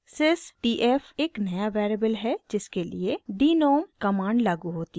sys t f एक नया variable है जिसके लिए denom कमांड लागू होती है